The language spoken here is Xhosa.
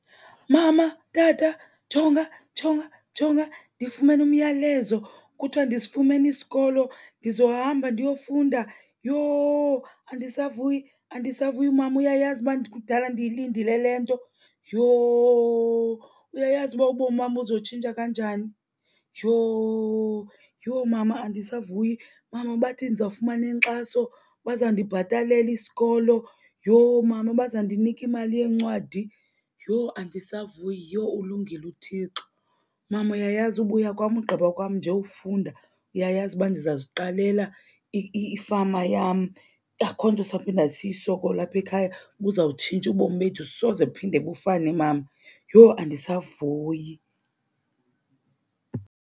Mama, tata, jonga, jonga, jonga ndifumene umyalezo kuthiwa ndisifumene isikolo. Ndizohamba ndiyofunda. Yho andisavuyi, andisavuyi, mama. Uyayazi uba kudala ndiyilindile le nto, yho. Uyayazi uba ubomi uba buzotshintsha kanjani, yho. Yho mama andisavuyi. Mama, bathi ndizawufumana inkxaso, bazawundibhatalela isikolo. Yho mama, bazandinika imali yeencwadi. Yho andisavuyi, yho ulungile uThixo. Mama, uyayazi ubuya kwam, ugqiba kwam nje ufunda uyayazi uba ndizawuziqalela ifama yam. Akho nto sawuphinda siyisokole apha ekhaya. Buzawutshintsha ubomi bethu, soze buphinde bufane, mama. Yho andisavuyi.